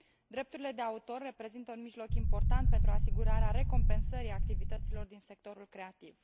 Drepturile de autor reprezintă un mijloc important pentru asigurarea recompensării activităților din sectorul creativ.